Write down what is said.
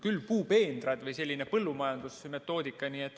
Küll puupeenrad või sellised põllumajanduslikud terminid.